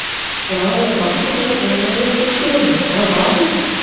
এ আমার বাপের সামনে কম গালাগালি করতাম আমি আমার বাপও তো